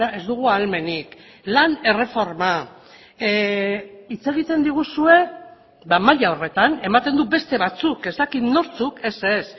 ez dugu ahalmenik lan erreforma hitz egiten diguzue maila horretan ematen du beste batzuk ez dakit nortzuk ez ez